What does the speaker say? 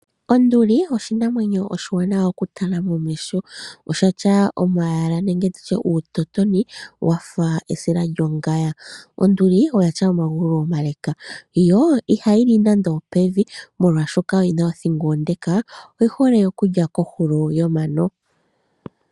Onduli oshinamwenyo oshiwanawa okutala momeho. Oshina eyala nenge tutye uutotoni mboka wafa uusila wongaya. Onduli oyina omagulu omale , yo ihayi li pevi unene molwaashoka oyina othingo onde. Unene oyi hole okulya kohulo yomano.